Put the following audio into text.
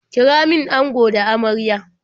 Kira min ango da amarya.